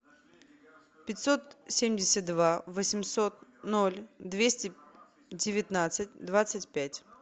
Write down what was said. пятьсот семьдесят два восемьсот ноль двести девятнадцать двадцать пять